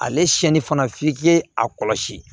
Ale siyɛnni fana f'i k'i a kɔlɔsi